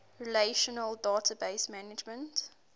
relational database management